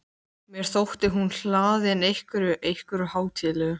Mér þótti hún hlaðin einhverju- einhverju hátíðlegu.